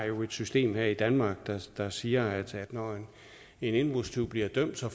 jo har et system her i danmark der siger at når en indbrudstyv bliver dømt får